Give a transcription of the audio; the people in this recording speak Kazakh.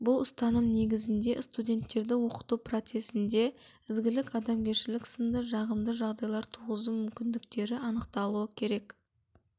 бұл ұстаным негізінде студенттерді оқыту процесінде ізгілік адамгершілік сынды жағымды жағдайлар туғызу мүмкіндіктері анықталуы керек